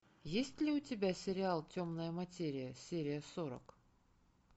есть ли у тебя сериал темная материя серия сорок